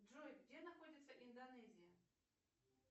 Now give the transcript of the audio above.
джой где находится индонезия